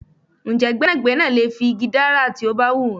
Ǹjẹ́ gbẹ́nàgbẹ́nà lè fi igi dárà tó bá hun wọn?